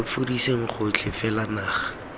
lo fudiseng gotlhe fela naga